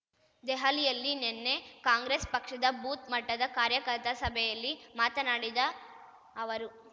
ದೆಹಲಿಯಲ್ಲಿ ನಿನ್ನೆ ಕಾಂಗ್ರೆಸ್ ಪಕ್ಷದ ಬೂತ್ ಮಟ್ಟದ ಕಾರ್ಯಕರ್ತ ಸಭೆಯಲ್ಲಿ ಮಾತನಾಡಿದ ಅವರು